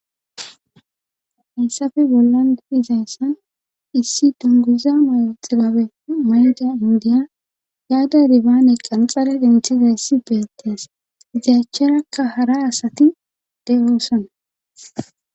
Hessafe bollan gibizayssan issi donguza mayo xibabe mayda indiya yaada dibaane qanxare denthiza yssi beetees ziacharakka hara asati de7oosana.